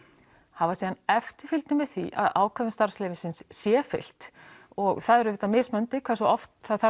hafa síðan eftirfylgni með því að ákvæðum starfsleyfisins sé fylgt og það er auðvitað mismunandi hve oft það þarf